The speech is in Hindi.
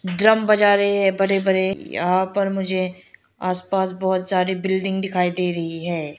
ड्रम बजा रहे हैं बड़े बड़े यहां पर मुझे आस पास बहोत सारे बिल्डिंग दिखाई दे रही है।